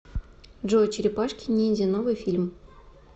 джой черепашки ниндзя новый фильм